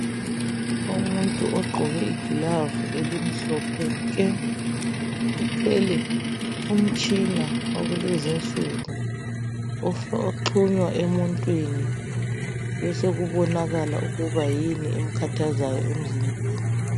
Umuntu ogqoke igilavu elimhlophe nke uthwele umtshina wakulezinsuku oxhunywa emuntwini besekubonakala ukuthi yini emkhathazayo emzimbeni.